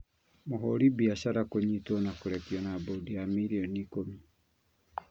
Mũhũri biacara kũnyitwo na kũrekio na mbondi ya mirioni ikũmi